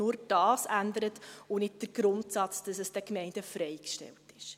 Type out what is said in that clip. Nur dies ändert, nicht jedoch der Grundsatz, dass es den Gemeinden freigestellt ist.